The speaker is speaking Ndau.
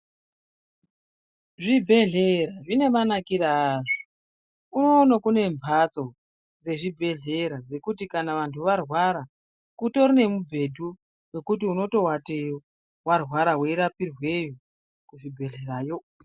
ZvibhedhLera zvine manakire azvo unono kune mhatso dzezvibhedhlera dzekuti kana vantu varwara kutori nemubhedhu wokuti unotoateyo warwara weirapirweyo kuzvibhedhlerayo.